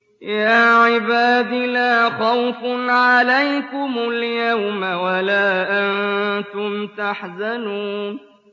يَا عِبَادِ لَا خَوْفٌ عَلَيْكُمُ الْيَوْمَ وَلَا أَنتُمْ تَحْزَنُونَ